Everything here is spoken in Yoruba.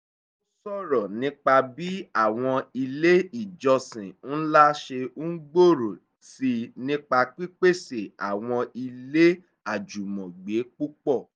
ó ṣòrọ̀ nípa bí àwọn ilé ìjọsìn ńlá ṣe ń gbòòrò sí i nípa pípèsè àwọn ilé àjùmọ̀gbé púpọ̀